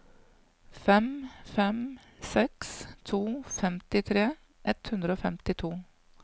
fem fem seks to femtitre ett hundre og femtito